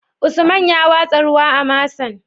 Usman ya watsa ruwa a masan?